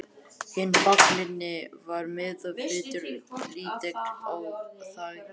Hinn fallni var meðvitundarlítill og þagði.